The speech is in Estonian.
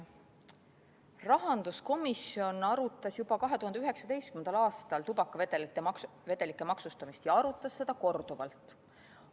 Rahanduskomisjon arutas juba 2019. aastal tubakavedelike maksustamist, ja arutas seda korduvalt.